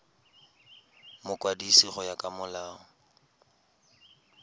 mokwadisi go ya ka molao